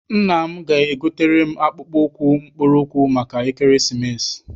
Nna m ga- egotere m akpụkpọ ụkwụ mkpụrụ ụkwụ maka ekeresimesi.